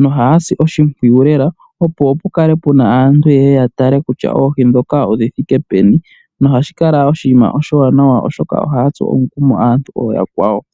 nohaya si oshimpwiyu lela opo pukale puna aantu yeye ya tale kutya oohi ndhoka odhi thike peni. Nohashi kala oshinima oshiwanawa lela oshoka ohaya tsu omukumo aantu ooyakwawo.